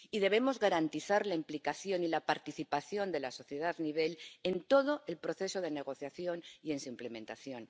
Y debemos garantizar la implicación y la participación de la sociedad en todo el proceso de negociación y en su implementación.